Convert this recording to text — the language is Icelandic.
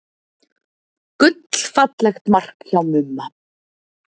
Gullfallegt mark hjá Mumma.